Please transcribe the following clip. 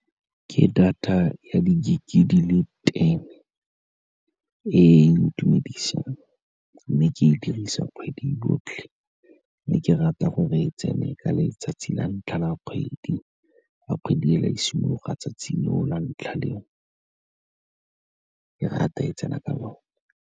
Ke data ya di-gig-e di le ten-e e ntumedisang, mme ke e dirisa kgwedi yotlhe, mme ke rata gore e tsene ka letsatsi la ntlha la kgwedi, fa kgwedi fela e simologa, tsatsi leo la ntlha leo, ke rata e tsena ka lone.